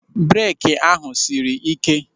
Beeki ahụ sịrị ị́ké.